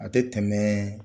A tɛ tɛmɛ